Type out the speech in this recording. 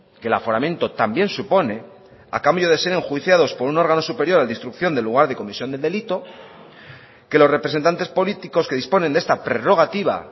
que el aforamiento también supone a cambio de ser enjuiciados por un órgano superior al de instrucción de lugar de comisión del delito que los representantes políticos que disponen de esta prerrogativa